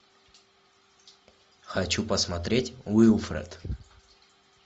хочу посмотреть уилфред